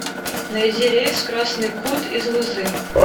найди рейс в красный кут из лузы